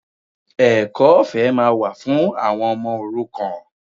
Ẹ̀kọ́ ọ̀fẹ́ máa wà fún àwọn ọmọ òrukàn